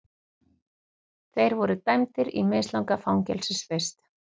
Þeir voru dæmdir í mislanga fangelsisvist